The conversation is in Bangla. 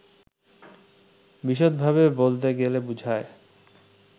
বিশদভাবে বলতে গেলে বুঝায়